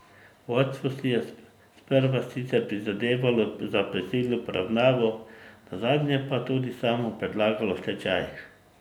Vodstvo si je sprva sicer prizadevalo za prisilno poravnavo, nazadnje pa tudi samo predlagalo stečaj.